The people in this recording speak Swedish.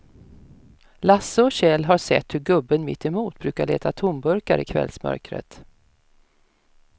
Lasse och Kjell har sett hur gubben mittemot brukar leta tomburkar i kvällsmörkret.